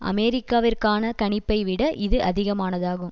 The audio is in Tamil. அமெரிக்காவிற்கான கணிப்பை விட இது அதிகமானதாகும்